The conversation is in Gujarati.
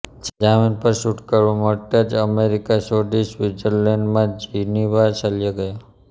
જામીન પર છૂટકારો મળતાં જ અમેરિકા છોડી સ્વિત્ઝરલૅન્ડમાં જીનીવા ચાલ્યા ગયા